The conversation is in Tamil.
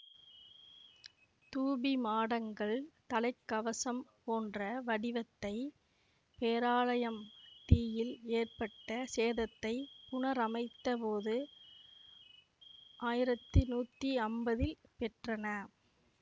தூபிமாடங்கள் தலை கவசம் போன்ற வடிவத்தை பேராலயம் தீயில் ஏற்பட்ட சேதத்தை புனரமைத்த போது ஆயிரத்தி நூத்தி அம்பதில் பெற்றன